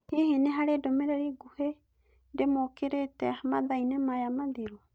Hihi nĩ harĩ ndũmĩrĩri nguhĩ ndĩmũkĩrĩĩte mathaa-inĩ maya mathiru?